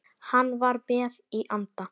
Hann var með í anda.